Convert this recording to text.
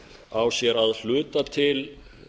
á sér að hluta til